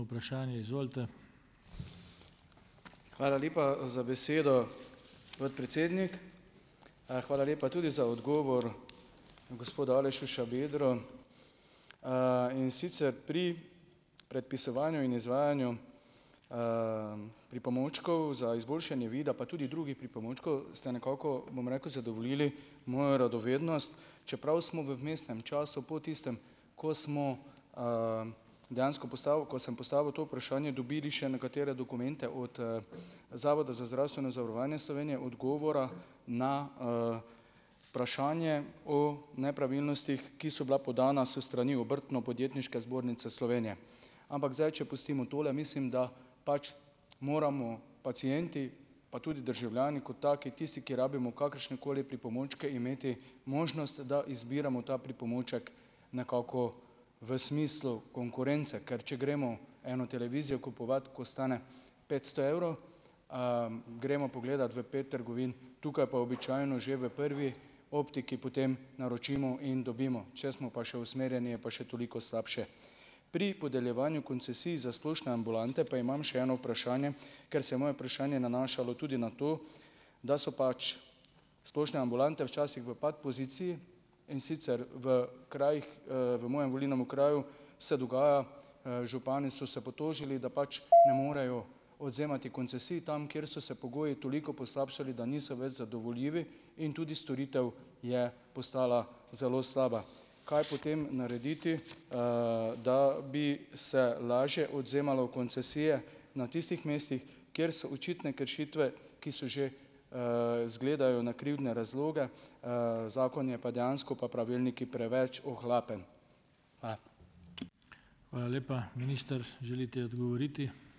Hvala lepa za besedo, podpredsednik. Hvala lepa tudi za odgovor gospoda Aleša Šabedra, in sicer, pri predpisovanju in izvajanju, pripomočkov za izboljšanje vida, pa tudi drugih pripomočkov, ste nekako, bom rekel, zadovoljili mojo radovednost, čeprav smo v vmesnem času, po tistem, ko smo, dejansko postavil, ko sem postavil to vprašanje, dobili še nekatere dokumente od, Zavoda za zdravstveno zavarovanje Slovenije, odgovora na, vprašanje o nepravilnostih, ki so bila podana s strani Obrtno-podjetniške zbornice Slovenije. Ampak zdaj, če pustimo tole, mislim da pač moramo pacienti, pa tudi državljani kot taki, tisti, ki rabimo kakršnekoli pripomočke, imeti možnost, da izbiramo ta pripomoček nekako v smislu konkurence, ker če gremo eno televizijo kupovat, ko stane petsto evrov, gremo pogledat v pet trgovin, tukaj pa običajno že v prvi optiki potem naročimo in dobimo, če smo pa še usmerjeni, je pa še toliko slabše. Pri podeljevanju koncesij za splošne ambulante, pa imam še eno vprašanje, ker se je moje vprašanje nanašalo tudi na to, da so pač splošne ambulante včasih v pat poziciji, in sicer, v krajih, v mojem volilnem okraju se dogaja, župani so se potožili, da pač ne morejo odvzemati koncesij tam, kjer so se pogoji toliko poslabšali, da niso več zadovoljivi in tudi storitev je postala zelo slaba. Kaj potem narediti, da bi se lažje odvzemalo koncesije na tistih mestih, kjer so očitne kršitve, ki so že, "zgledajo" na krivdne razloge, zakon je pa dejansko, pa pravilniki, preveč ohlapen? Hvala.